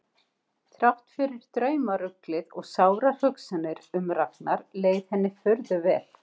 Þrátt fyrir draumaruglið og sárar hugsanir um Ragnar leið henni furðu vel.